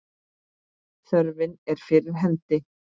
Þörfin er fyrir hendi.